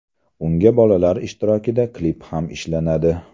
Unga bolalar ishtirokida klip ham ishlanadi.